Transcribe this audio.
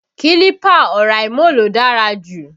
Kílípà Oraimo ló dára jù